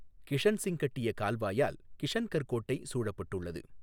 கிஷன்சிங் கட்டிய கால்வாயால் கிஷன்கர் கோட்டை சூழப்பட்டுள்ளது.